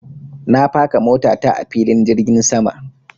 Na faka mota ta a filin jirgin sama.